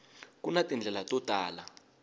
ku na tindlela to tala